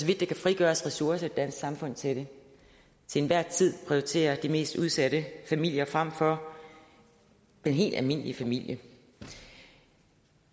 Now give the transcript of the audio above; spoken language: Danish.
kan frigøres ressourcer i det danske samfund til det til enhver tid prioritere de mest udsatte familier frem for den helt almindelige familie